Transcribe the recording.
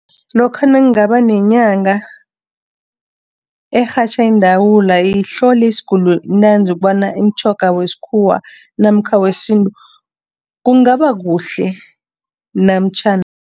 Lokha nakungaba nenyanga erhatjha iindawula ihlole isiguli ntanzi ukobana imitjhoga wesikhuwa namkha wesintu kungaba kuhle